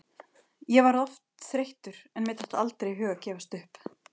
Ég varð oft þreyttur en mér datt aldrei í hug að gefast upp.